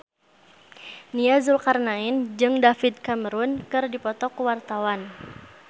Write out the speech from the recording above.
Nia Zulkarnaen jeung David Cameron keur dipoto ku wartawan